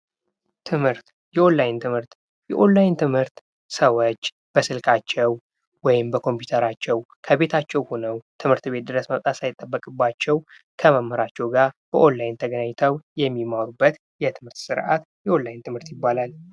ትምህርት፦ የኦንላይን ትምህርት፦ የኦንላይን ትምህርት ሰዎች በስልካቸው ወይም በኮምፒተራቸው ከቤታቸው ሆነው ትምህርት ቤት ድረስ መምጣት ሳይጠበቅባቸው ከመምራቸው ጋር በኦንላይን ተገናኝተው የሚማሩበት የትምህርት የኦንላይን ትምህርት ይባላል።